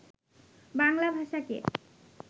বাংলা ভাষাকে